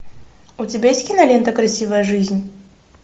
у тебя есть кинолента красивая жизнь